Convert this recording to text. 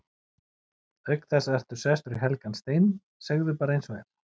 Auk þess ertu sestur í helgan stein, segðu bara eins og er.